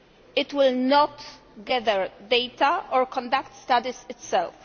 It will not gather data or conduct studies itself.